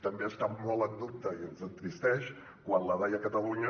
també està molt en dubte i ens entristeix quan la dai a catalunya